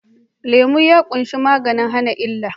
Lemu ya ƙunshi maganin hana illa